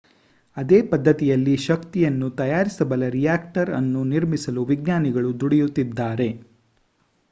ಅದೇ ಪದ್ಧತಿಯಲ್ಲಿ ಶಕ್ತಿಯನ್ನು ತಯಾರಿಸಬಲ್ಲ ರಿಯಾಕ್ಟರ್ ಅನ್ನು ನಿರ್ಮಿಸಲು ವಿಜ್ಞಾನಿಗಳು ದುಡಿಯುತ್ತಿದ್ದಾರೆ